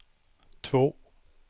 två